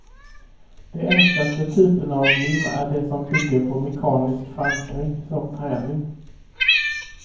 De enklaste typerna av lim är de som bygger på mekanisk förankring, som trälim.